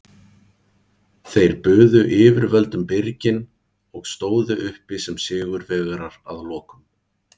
Þeir buðu yfirvöldum byrginn og stóðu uppi sem sigurvegarar að lokum.